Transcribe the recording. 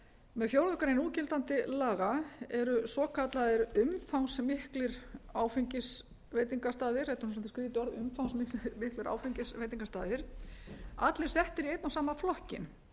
með fjórðu grein núgildandi laga eru svokallaðir umfangsmiklir áfengisveitingastaðir þetta er nú svolítið skrýtið orð umfangsmiklir veitingastaðir allir settir í einn og sama flokkinn